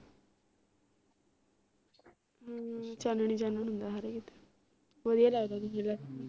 ਹਮ ਚਾਨਣ ਹੀ ਚਾਨਣ ਹੁੰਦਾ ਹਰ ਕੀਤੇ ਵਧੀਆ ਲਗਦਾ